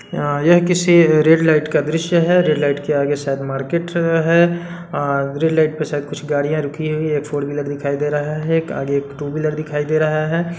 यह किसी red light का दृश्य हैं रेड लाइट के आगे शायद मार्केट हैं आ ग्रीन लाइट के आगे शायद कुछ गाड़िया रुकी हुई हैं एक फोर व्हीलर दिखाय दे रहा है आगे एक टू व्हीलर दिखाई दे रहा हैं।